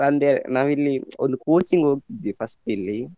ಅಂದ್ರೆ ನಾವಿಲ್ಲಿ ಒಂದು coaching ಹೋಗ್ತಿದ್ದೆ first ಇಲ್ಲಿ.